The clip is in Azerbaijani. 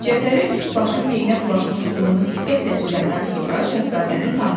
Cəfəri üst-başı pendirə bulaşmış Lumunu diqqətlə süzəndən sonra şahzadəni tanıdı.